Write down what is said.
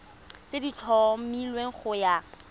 tse di tlhomilweng go ya